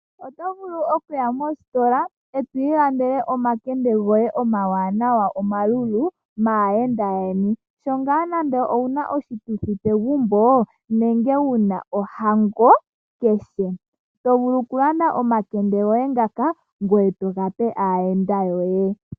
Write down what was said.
Oto vulu okuya mositola etwiilandele omakende goe omawanawa omalulu naayenda yeni. Sho ngaa nande owuna oshituthi pegumbo nenge wuna ohango keshe, tovulu kulanda omakende goe ngaka ngoye togape aayenda yoe.